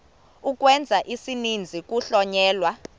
ukwenza isininzi kuhlonyelwa